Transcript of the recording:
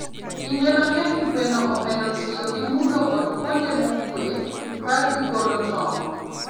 Kinde mang'eny, gweno ohero tiyo gi mudho kod kuonde mokuwe ka gi golo tong.